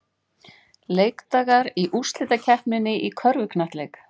Leikdagar í úrslitakeppninni í körfuknattleik